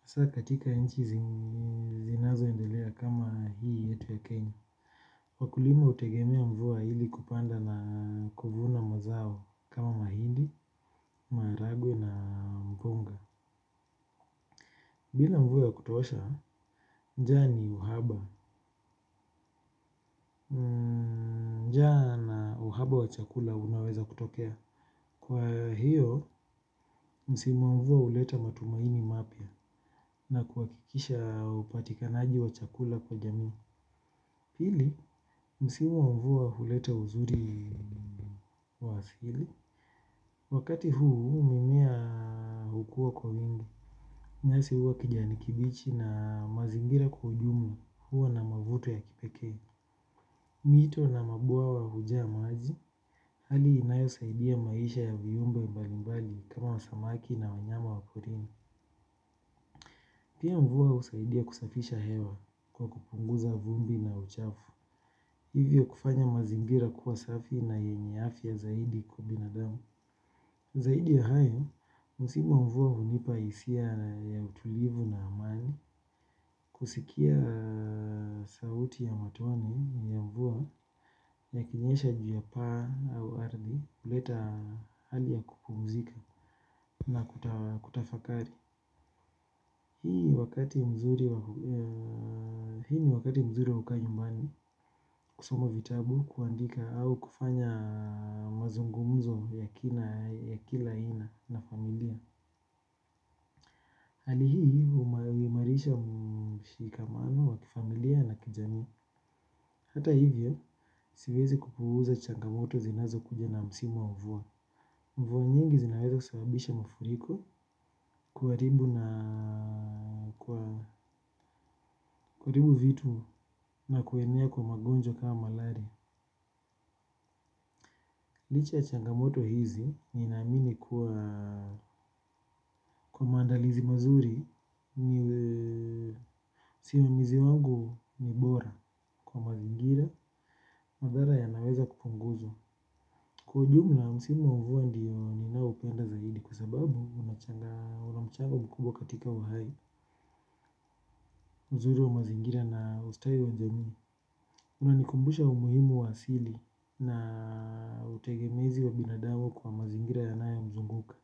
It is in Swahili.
hasa katika inchi zinazoendelea kama hii yetu ya kenya. Wakulima hutegemea mvua ili kupanda na kuvuna mazao kama mahindi, maharagwe na mgonga. Bila mvua ya kutosha, njaa ni uhaba. Njaa na uhaba wa chakula unaweza kutokea. Kwa hiyo, msimu wa mvua huleta matumaini mapya na kuhakikisha upatikanaji wa chakula kwa jamii. Pili, msimu wa mvua huleta uzuri wa asili. Wakati huu, mimea hukua kwa mingi. Nyasi hua kijani kibichi na mazingira kwa ujumla hua na mavuto ya kipekee. Mito na mabwawa hujaa maji hali inayosaidia maisha ya viumbe mbalimbali kama wa samaki na wanyama wa porini. Pia mvua husaidia kusafisha hewa kwa kupunguza vumbi na uchafu. Hivyo kufanya mazingira kuwa safi na yenye afya zaidi kwa binadamu. Zaidi ya hayo, msimu wa mvua hunipa hisia ya utulivu na amani. Kusikia sauti ya matone ya mvua yakinyesha juu ya paa au ardhi huleta hali ya kupumzika. Na kutafakari hii ni wakati mzuri wa kukaa nyumbani. Kusoma vitabu, kuandika au kufanya mazungumzo ya kila aina na familia hali hii huimarisha mshikamano wa kifamilia na kijamii. Hata hivyo, siwezi kupuuza changamoto zinazokuja na msimu wa mvua. Mvua nyingi zinaweza kusababisha mafuriko kuharibu vitu na kuenea kwa magonjea kama malaria. Licha ya changamoto hizi, ninaamini kwa maandalizi mazuri msimamizi wangu ni bora kwa mazingira. Madhara yanaweza kupunguzwa. Kwa jumla, msimu wa mvua ndio ninaupenda zaidi. Kwa sababu, una mchango mkubwa katika uhai mzuri wa mazingira na ustawi wa jamii unanikumbusha umuhimu wa asili na utegemezi wa binadamu kwa mazingira yanayomzunguka.